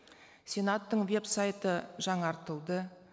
сенаттың веб сайты жаңартылды